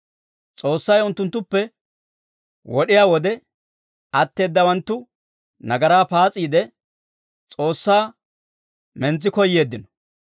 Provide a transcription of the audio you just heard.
S'oossay unttunttuppe wod'iyaa wode, atteedawanttu nagaraa paas'iide, S'oossaa mintsi koyeeddino.